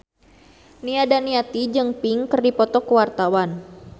Nia Daniati jeung Pink keur dipoto ku wartawan